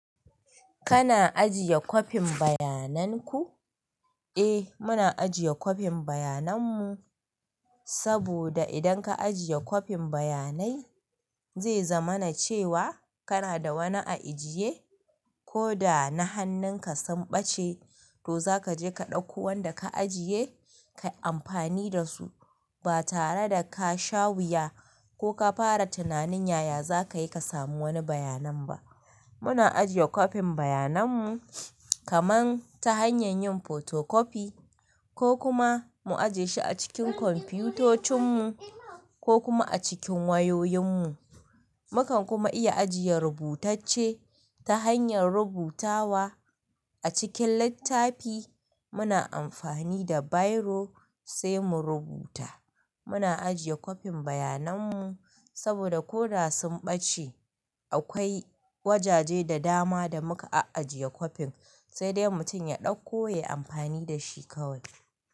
Kana ajiye kwafin bayanan ku? Eh muna ajiye kwafin bayanan mu, saboda idan ka ajiye kwafin bayanai zai zama na cewa kana da wani a ajiye. Ko da na hannun ka sun ɓace, to za ka je ka ɗauko wanda ka ajiye, ka yi amfani da su. Ba tare da ka sha wuya ko ka fara tunanin yaya za ka yi ka samu wani bayanan ba. Muna ajiye kwafin bayanan mu kamar ta hanyar yin photocopy ko kuma mu ajiye shi a cikin kwamfutocin mu ko kuma a cikin wayoyin mu. Mukan kuma iya ajiye rubutacce ta hanyar rubutawa a cikin littafi. Muna amfani da biro sai mu rubuta. Muna ajiye kwafin bayanan mu saboda ko da sun ɓace, akwai wajaje da dama da muka ajiye kwafin, sai dai mutum ya ɗauko ya yi amfani da shi kawai.